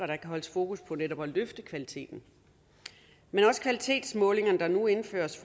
der kan holdes fokus på netop at løfte kvaliteten men også kvalitetsmålingerne der nu indføres